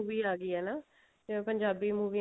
ਵੀ ਆਗੀ ਹੈ ਨਾ ਪੰਜਾਬੀ movie